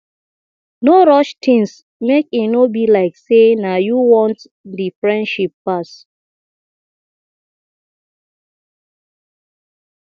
no rush things make e no be like sey na you want di friendship pass